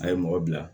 A ye mɔgɔ bila